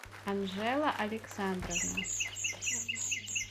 анжела александровна